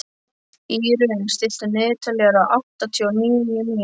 Írunn, stilltu niðurteljara á áttatíu og níu mínútur.